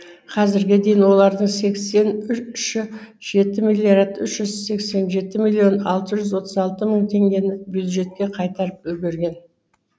қазірге дейін олардың сексен үші жеті миллиард үш жүз сексен жеті миллион алты жүз отыз алты мың теңгені бюджетке қайтарып үлгерген